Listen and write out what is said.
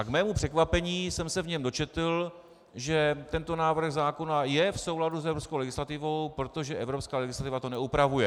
A k mému překvapení jsem se v něm dočetl, že tento návrh zákona je v souladu s evropskou legislativou, protože evropská legislativa to neupravuje.